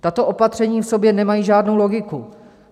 Tato opatření v sobě nemají žádnou logiku.